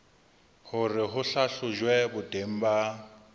hore ho hlahlojwe boteng ba